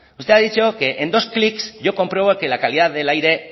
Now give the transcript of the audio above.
usted ha dicho que en dos clics yo compruebo que la calidad del aire